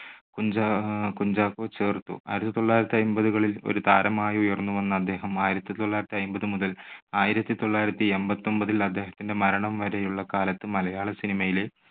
കുഞ്ചാ~കുഞ്ചാക്കോ ചേർത്തു. ആയിരത്തി തൊള്ളായിരത്തി അയ്മ്പതുകളിൽ ഒരു താരമായി ഉയർന്നുവന്ന അദ്ദേഹം ആയിരത്തി തൊള്ളായിരത്തി അയ്മ്പത് മുതൽ ആയിരത്തി തൊള്ളായിരത്തി എൺപത്തൊൻപതിൽ അദ്ദേഹത്തിന്റെ മരണം വരെയുള്ള കാലത്ത് മലയാള cinema യിലെ